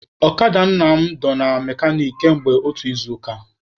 Ọkada Nna m dọ na mekanik kamgbe otu izuụka.